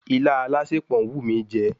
Ilá alásèpọ̀ ń wù mí jẹ